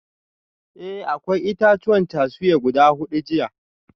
Eh akwai itatuwan cashew guda hudu jiya